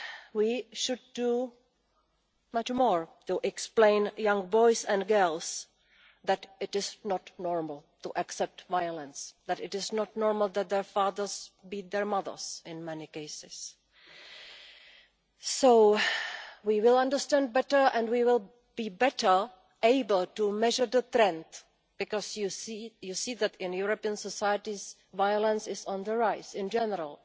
We should do much more to explain to young boys and girls that this is not normal to accept violence, that it is not normal that their fathers beat their mothers, in many cases. We will understand better and we will be better able to measure the trend, because you see that in European society violence is on the rise in general,